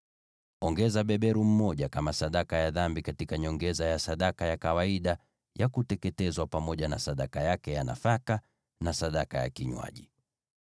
Weka beberu mmoja kama sadaka ya dhambi, kwa nyongeza ya kawaida ya sadaka ya kuteketezwa, na sadaka yake ya nafaka, pamoja na sadaka zao za vinywaji.